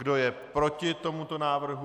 Kdo je proti tomuto návrhu?